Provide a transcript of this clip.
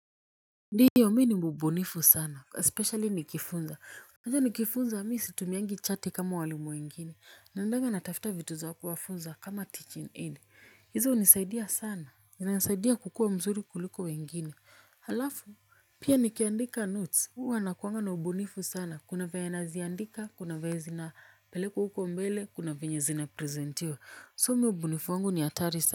Ndio mimi ni mbunifu sana especially nikifunza unajua nikifunza mimi situmiangi chati kama walimu wengine. Naendanga natafuta vitu za kuwafunza kama teaching aid. Hizo hunisaidia sana zinanisaidia kukua mzuri kuliko wengine. Halafu pia nikiandika notes huwa nakuanga na ubunifu sana kuna venye naziandika kuna venye zinapelekwa huko mbele kuna venye zinapresentiwa so mimi ubunifu wangu ni hatari sana.